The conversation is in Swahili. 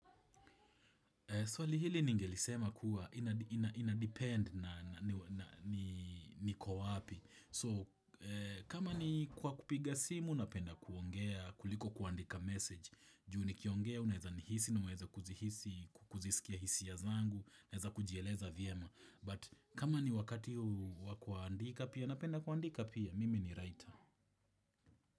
Swali hili ningelisema kuwa ina ina inadepend na nanii niko wapi. So, kama ni kwa kupiga simu, napenda kuongea, kuliko kuandika message. Juu nikiongea, unaezanihisi, na unaeza kuzihisi, kuzisikia hisia zangu, naeza kujieleza vyema. But, kama ni wakati huu wa kuandika pia, napenda kuandika pia, mimi ni writer.